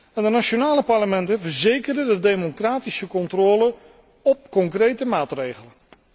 En de nationale parlementen verzekeren de democratische controle op concrete maatregelen.